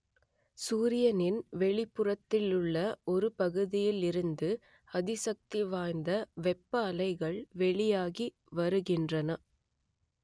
சூரியனின் வெளிப்புறத்திலுள்ள ஒரு பகுதியில் இருந்து அதிசக்தி வாய்ந்த வெப்ப அலைகள் வெளியாகி வருகின்றன